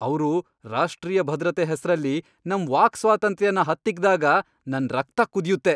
ಅವ್ರು ರಾಷ್ಟ್ರೀಯ ಭದ್ರತೆ ಹೆಸ್ರಲ್ಲಿ ನಮ್ ವಾಕ್ ಸ್ವಾತಂತ್ರ್ಯನ ಹತ್ತಿಕ್ಕ್ದಾಗ ನನ್ ರಕ್ತ ಕುದಿಯುತ್ತೆ.